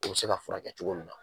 O be se ka furakɛ cogo min na